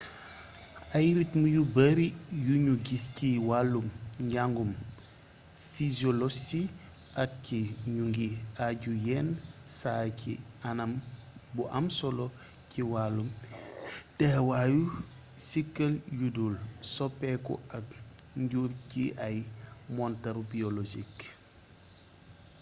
ay ritm yu bari yuñu gis ci wàllum njangum physiolosi ak ci ñu ngi aju yenn saay ci anam bu am solo ci wàllum teewaayu siikël yudul soppeeku ak njur ci ay montaru biologiques